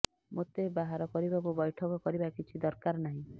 ମୋତେ ବାହାର କରିବାକୁ ବୈଠକ କରିବା କିଛି ଦରକାର ନାହିଁ